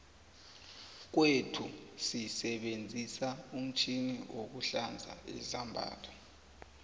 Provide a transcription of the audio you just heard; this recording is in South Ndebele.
kwethuu sisebenzisa umtjhini wokuhlanza izambatho